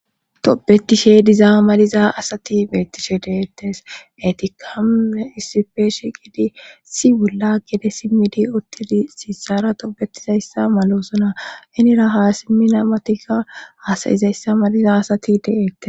Tobetishe dizaa maliza asati beettishe deettes etikamuune issifeeshe gidi si bolla gede simmidi uttili siisara toobetizayssa malosona henira haa simmina matikka hasayizayssa maliza asati deeettes.